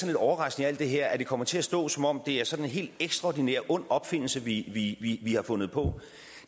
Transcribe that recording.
lidt overraskende i alt det her at det kommer til at stå som om det er sådan en helt ekstraordinær ond opfindelse vi vi har fundet på